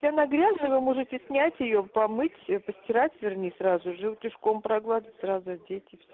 можете снять её помыть постирать вернее сразу же утюжком погладить сразу ответить